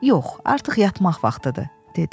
Yox, artıq yatmaq vaxtıdır, dedi.